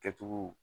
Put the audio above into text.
Kɛcogo